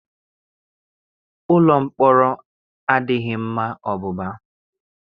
Ụlọ mpọrọ adịghị mma ọbụba.